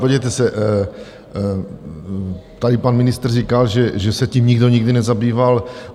Podívejte se, tady pan ministr říkal, že se tím nikdo nikdy nezabýval.